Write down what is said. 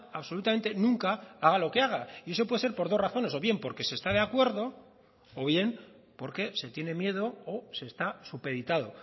absolutamente nunca haga lo que haga y eso puede ser por dos razones o bien porque se está de acuerdo o bien porque se tiene miedo o se está supeditado